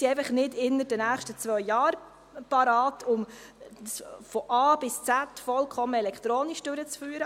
Wir sind einfach nicht innerhalb der nächsten zwei Jahre bereit, um von A bis Z alles vollkommen elektronisch durchzuführen.